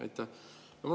Aitäh!